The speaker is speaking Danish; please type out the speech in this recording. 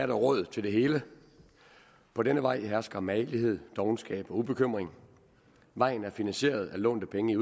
der råd til det hele på denne vej hersker magelighed dovenskab og ubekymrethed vejen er finansieret af lånte penge